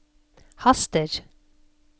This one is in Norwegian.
haster